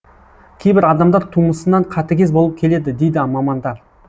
кейбір адамдар тумысынан қатыгез болып келеді дейді мамандар